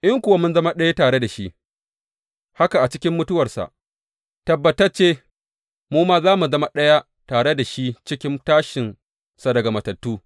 In kuwa mun zama ɗaya tare da shi haka a cikin mutuwarsa, tabbatacce mu ma za mu zama ɗaya tare da shi cikin tashinsa daga matattu.